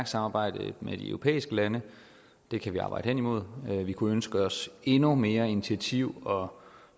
samarbejde med de europæiske lande det kan vi arbejde hen imod vi kunne ønske os endnu mere initiativ og